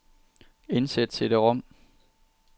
Indsæt cd-rom.